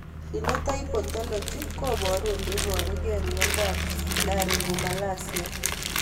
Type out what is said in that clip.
Phenotype ontology koparu ole iparug'ei miondop Laryngomalacia